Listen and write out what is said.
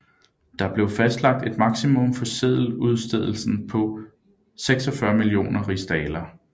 Der blev fastlagt et maksimum for seddeludstedelsen på 46 millioner rigsdaler